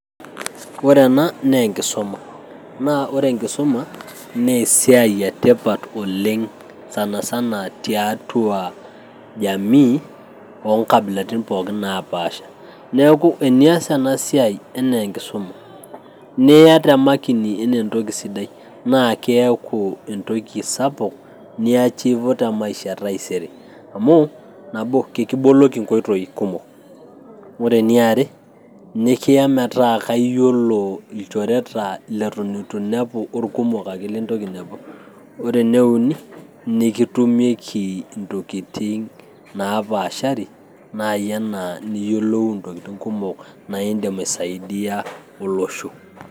Ore ena naa enkisuma. Naa ore enkisuma, na esiai etipat oleng' sanasana tiatua jamii onkabilatin pookin napaasha. Neeku tenias enasiai enaa enkisuma, niya temakini enaa entoki sidai, na keeku entoki sapuk niachivo temaisha taisere. Amu nabo, keki boloki nkoitoi kumok. Ore eniare, nikiya metaa kaiyiolo ilnchoreta leton itu nepu orkumok ake lintoki ainepu. Ore eneuni, nikitumieki intokiting' napaashari, nai enaa niyiolou intokiting' kumok na idim aisaidia olosho.